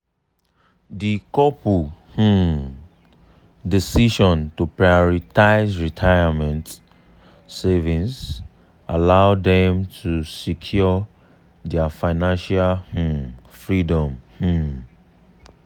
di couple um decision to prioritize retirement savings allow dem to secure their financial um freedom. um